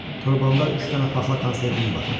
Torbamda üç dənə paxla konservim var.